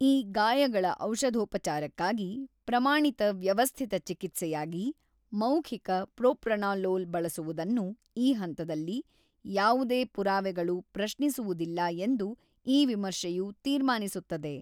ಈ ಗಾಯಗಳ ಔಷಧೋಪಚಾರಕ್ಕಾಗಿ ಪ್ರಮಾಣಿತ ವ್ಯವಸ್ಥಿತ ಚಿಕಿತ್ಸೆಯಾಗಿ ಮೌಖಿಕ ಪ್ರೊಪ್ರಾನಾಲೋಲ್ ಬಳಸುವುದನ್ನು ಈ ಹಂತದಲ್ಲಿ, ಯಾವುದೇ ಪುರಾವೆಗಳು ಪ್ರಶಿಸುವುದಿಲ್ಲ ಎಂದು ಈ ವಿಮರ್ಶೆಯು ತೀರ್ಮಾನಿಸುತ್ತದೆ.